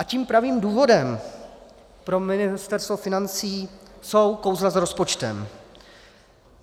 A tím pravým důvodem pro Ministerstvo financí jsou kouzla s rozpočtem.